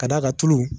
Ka d'a kan tulu